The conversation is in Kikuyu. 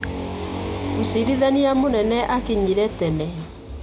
Mũciirithania mũnene akinyire tene.